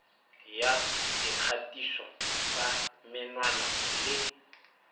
ya dikgatiso tsa menwana le